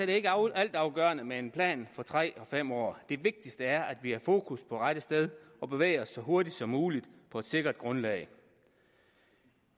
det ikke altafgørende med en plan for tre og fem år det vigtigste er at har fokus på rette sted og bevæger sig så hurtigt som muligt på et sikkert grundlag